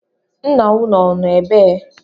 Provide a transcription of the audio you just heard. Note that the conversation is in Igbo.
Ńnà ụnụ ọ nọ ebee?